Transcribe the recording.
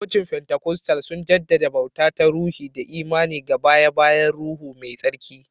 Cocin fentikostal suna jaddada bauta ta ruhi da imani ga baye-bayen Ruhu Mai Tsarki.